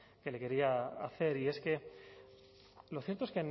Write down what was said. que le quería hacer y es que lo cierto es